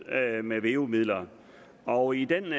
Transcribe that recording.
med veu midler og i den